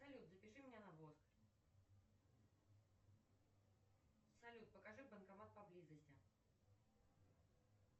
салют запиши меня на воск салют покажи банкомат поблизости